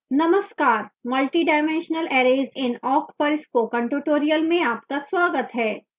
नमस्कार multidimensional arrays in awk पर spoken tutorial में आपका स्वागत है